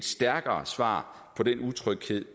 stærkere svar på den utryghed